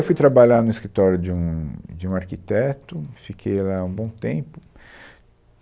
Fui trabalhar no escritório de um, de um arquiteto, fiquei lá um bom tempo.